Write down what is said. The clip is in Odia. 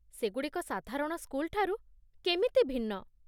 ସେଗୁଡ଼ିକ ସାଧାରଣ ସ୍କୁଲଠାରୁ କେମିତି ଭିନ୍ନ?